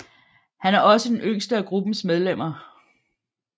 Han er også den yngste af gruppens medlemmer